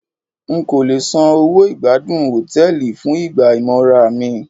N kò le san owó ìgbádùn Hòtẹ́lìì fún ìgbà ìmora mi.